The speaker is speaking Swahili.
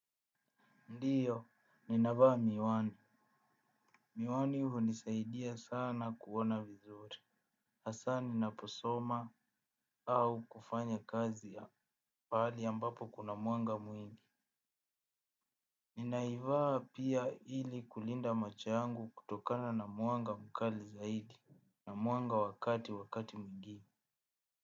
Ndiyo, ninavaa miwani. Miwani hunisaidia sana kuona vizuri. Hasa ninaposoma au kufanya kazi ya pahali ambapo kuna mwanga mwingi. Ninaivaa pia ili kulinda macho yangu kutokana na mwanga mkali zaidi. Na mwanga wa kati wakati mgeni.